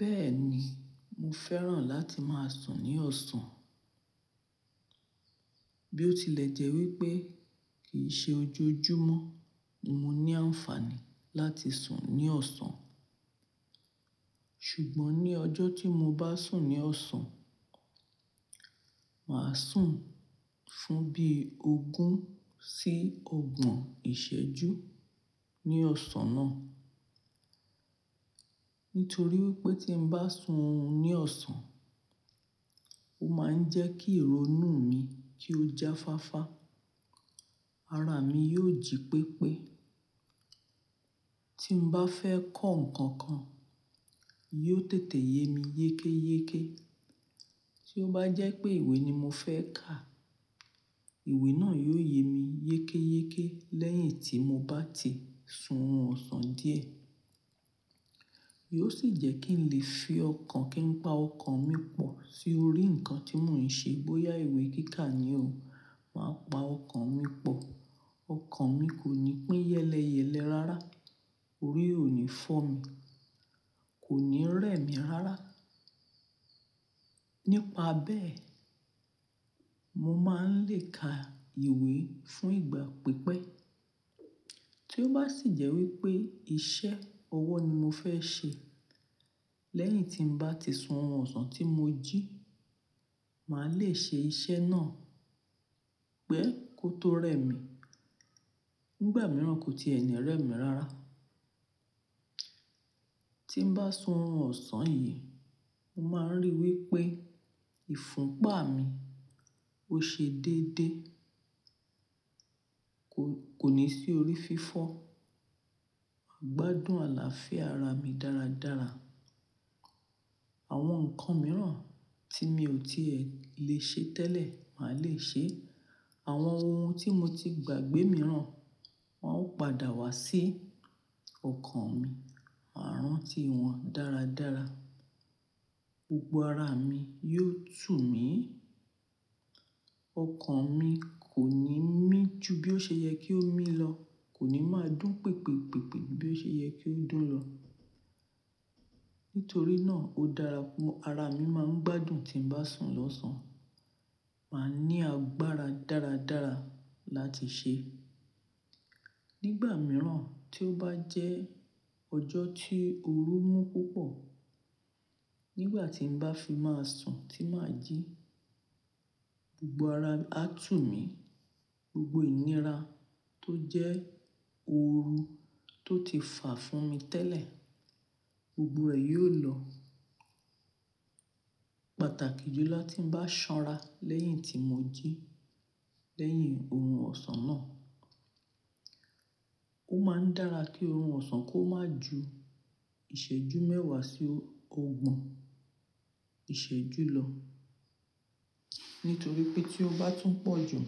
Bẹ́ẹ̀ ni, mo fẹ́ràn láti máa sùn ní ọ̀sán. Bí ó tilẹ̀ jẹ́ wípé kì í ṣe ojoojúmọ́, mo ní àǹfààní láti sùn ní ọ̀sán. Ṣùgbọ́n ní ọjọ́ tí mo bá sùn ní ọ̀sán, màá sùn fún bí ogún sí ogbọ̀n ìṣẹ́jú ní ọ̀sán náà. Nítorí wípé tí n bá sùn ní ọ̀sán, ó máa ń jẹ́ kí ìró inú mi kí ó jáfáfá. Ara mi yóò jí pépé. Tí n bá fẹ́ kọ́ nǹkan kan, yóò tètè ye mi yékéyéké. Tí ó bá jẹ́ pé ìwé ni mo fẹ́ kà, ìwé náà yóò ye mi yékéyéké lẹ́yìn tí mo bá ti sun orun ọ̀sán díẹ̀. Yóò sì jẹ́ kí n lè fi ọkàn kí n pa ọkàn mi pọ̀ sí orí nǹkan tí mò ń ṣe bóyá ìwé kí ká ni o. Màá pa ọkàn mi pọ̀. Ọkàn mi kò ní pín yẹ́lẹ́yẹ́lẹ́ rárá. Orí ò ní fọ́ mi, kò ní rẹ̀ mí rárá. Nípa bẹ́ẹ̀, mo máa ń lè ka ìwé fún ìgbà pípẹ́. Tí ó bá sì jẹ́ wípé iṣẹ́ ọwọ́ ni mo fẹ́ ṣe lẹ́yìn tí n bá ti sun'run ọ̀sán tí mo jí, màá lè ṣe iṣẹ́ náà pẹ́ kó tó rẹ̀ mí. Nígbà mìíràn, kò ti ẹ ní rẹ̀ mí rárá. Tí n bá sun oorun ọ̀sán yìí, mo máa ń rí i wípé ìfúnpa mi ó ṣe déédéé. Kò, kò ní sí orí fífọ́. Ìgbádùn àlàáfíà ara mi dáradára. Àwọn nǹkan mìíràn tí mi ò tí ẹ lè ṣe tẹ́lẹ̀, màá lè ṣe é. Àwọn ohun tí mo ti gbàgbé mìíràn, wọn ó padà wá sí ọkàn mi. Màá rántí wọn dáradára. Gbogbo ara mi yóò tù mí. Ọkàn mi kò ní mí ju bí ó ṣe yẹ kí ó mí lọ. Kò ní máa dún pèpèpèpè bí ó ṣe yẹ kí ó dún lọ. Nítorí náà, ó dára púpọ̀. Ara mi máa ń gbádùn tí n bá sùn lọ̀sán. Màá ní agbára dáradára láti ṣe. Nígbà mìíràn tí ó bá jẹ́ ọjọ́ tí oru mú púpọ̀, nígbà tí n bá fi máa sùn tí màá jí, gbogbo ara á tù mí. Gbogbo ìnira tó jẹ́ ooru tó ti fà fún mi tẹ́lẹ̀, gbogbo rẹ̀ yóò lọ. Pàtàkì jù lọ ti n bá ṣanra lẹ́yìn tí mo jí lẹ́yìn oorun ọ̀sán náà. Ó máa ń dára kí oorun ọ̀sán kó má ju ìṣẹ́jú mẹ́wàá sí ogbọ̀n ìṣẹ́jú lọ. Nítorí pé tí ó bá tún pọ̀ jù,